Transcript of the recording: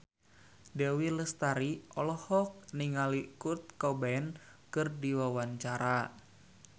Dewi Lestari olohok ningali Kurt Cobain keur diwawancara